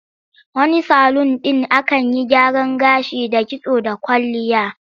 Wani salun ɗin akan yi gyaran gashi da kitso da kwalliya.